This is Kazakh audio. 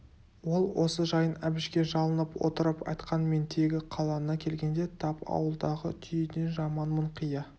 ол осы жайын әбішке жалынып отырып айтқан мен тегі қалаңа келгенде тап ауылдағы түйеден жаманмын қия